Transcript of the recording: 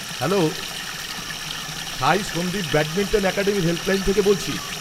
Hello, Sai Sandeep badminton academy helpline থেকে বলছি।